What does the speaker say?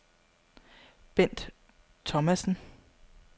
Bendt Thomasen